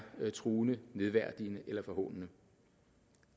truende nedværdigende eller forhånende